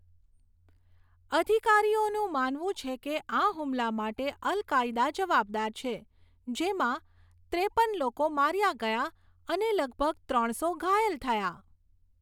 અધિકારીઓનું માનવું છે કે આ હુમલા માટે અલ કાયદા જવાબદાર છે, જેમાં ત્રેપન લોકો માર્યા ગયા અને લગભગ ત્રણસો ઘાયલ થયા.